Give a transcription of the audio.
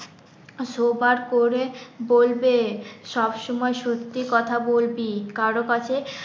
show বার করে বলবে সবসময় সত্যি কথা বলবি কারো কাছে